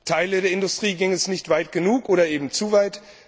Teilen der Industrie ging es nicht weit genug oder aber zu weit.